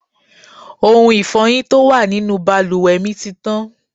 Ohun Ifọ́yín tó wà nínú bàlùwẹ̀ mi ti tán.